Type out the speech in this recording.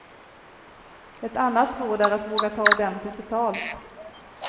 Ett annat råd är att våga ta ordentligt betalt.